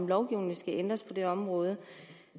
lovgivningen ændres på det område